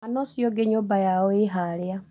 Mwana ũcio ũngĩ nyũmba yao ĩhaarĩa